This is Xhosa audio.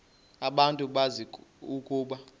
abantu bazi ukuba